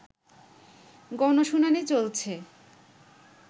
গণশুনানি চলছে